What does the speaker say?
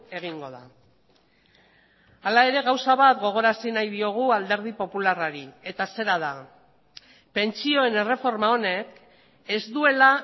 egingo da hala ere gauza bat gogorarazi nahi diogu alderdi popularrari eta zera da pentsioen erreforma honek ez duela